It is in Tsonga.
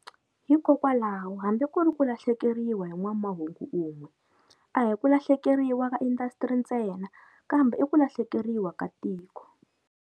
Hikokwalaho hambi ku ri ku lahlekeriwa hi n'wamahungu un'we a hi ku lahlekeriwa ka indhasitiri ntsena kambe i ku lahlekeriwa ka tiko.